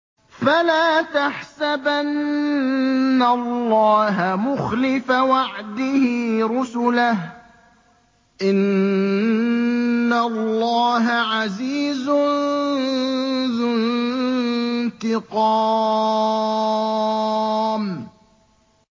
فَلَا تَحْسَبَنَّ اللَّهَ مُخْلِفَ وَعْدِهِ رُسُلَهُ ۗ إِنَّ اللَّهَ عَزِيزٌ ذُو انتِقَامٍ